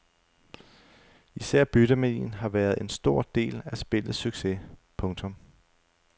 Især byttemanien har været en stor del af spillets succes. punktum